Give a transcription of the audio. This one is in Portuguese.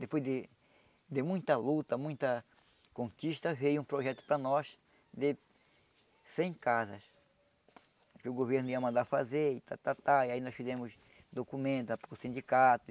Depois de de muita luta, muita conquista, veio um projeto para nós de cem casas que o governo ia mandar fazer e ta ta ta, e aí nós fizemos documentos para o sindicato,